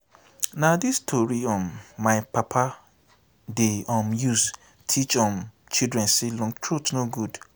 na dis tori um my papa dey um use teach um children sey long throat no good.